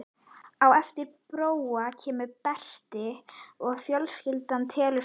Á eftir Bróa kemur Berti og fjölskyldan telur fimm manns.